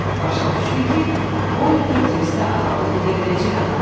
Başa düşdü ki, Olifer Tivistə ağalıq edə biləcək adamdır.